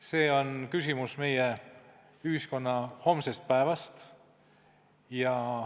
See on küsimus meie ühiskonna homsest päevast.